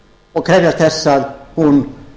og krefjast þess að hún